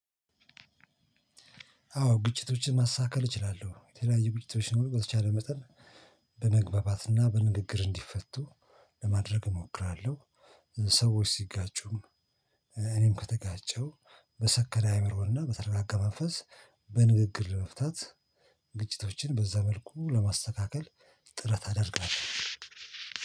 አዎ ግጭቶችን ማስተካከል እችላለሁ የተለያዩ ግጭቶች ሲኖሩ በተቻለ መጠን በመግባባት በንግግር እንዲፈቱ ለማድረግ እሞክራለሁ። ሰዎች ሲጋጩም እኔም ከተጋጨው በሰከነ አይምሮና በተረጋጋ መንፈስ በንግግር ለመፍታት ግጭቶችን በዛ መልኩ ለማስተካከል። ጥረት አደርጋለሁ።